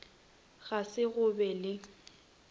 ga se go be le